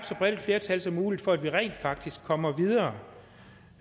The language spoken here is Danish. så bredt flertal som muligt for at vi rent faktisk kommer videre